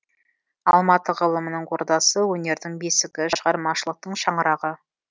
алматы ғылымының ордасы өнердің бесігі шығармашылықтың шаңырағы